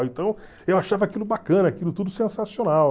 Então eu achava aquilo bacana, aquilo tudo sensacional.